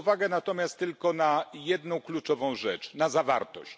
Zwrócę uwagę natomiast tylko na jedną kluczową rzecz na zawartość.